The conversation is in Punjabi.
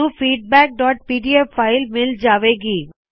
ਸਾਨੂੰ feedbackਪੀਡੀਐਫ ਫਾਇਲ ਮਿਲ ਜਾਵੇ ਗੀ